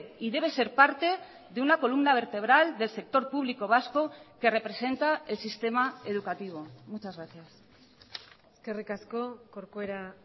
y debe ser parte de una columna vertebral del sector público vasco que representa el sistema educativo muchas gracias eskerrik asko corcuera